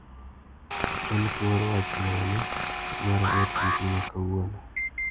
En thuor wach mane mar ote mbui makawuono ?